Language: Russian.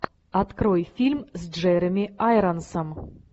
открой фильм с джереми айронсом